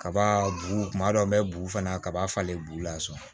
Kaba bu kuma dɔ n bɛ bugu fana kaba falen bu la sɔn